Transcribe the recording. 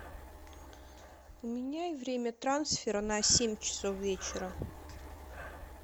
поменяй время трансфера на семь часов вечера